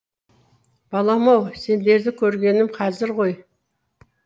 балам ау сендерді көргенім қазір ғой